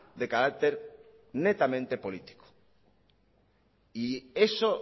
de carácter netamente político y eso